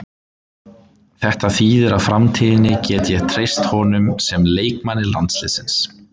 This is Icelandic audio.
Þetta þýðir að í framtíðinni get ég treyst honum sem leikmanni landsliðsins.